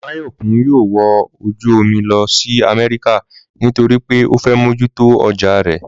Máyọ̀kún yóò wọ ojú omi lọ sí Amẹ́ríkà nítorí pé ó fẹ́ mójú tó ọjà rẹ̀